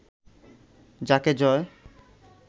যাকে জয়